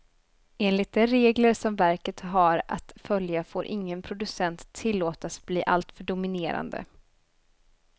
Enligt de regler som verket har att följa får ingen producent tillåtas bli alltför dominerande.